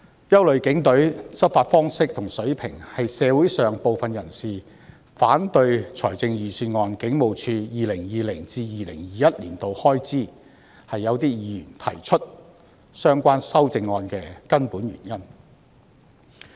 憂慮警隊的執法方式和水平，是社會上部分人士反對預算案中警務處 2020-2021 年度的開支及議員提出相關修正案的根本原因。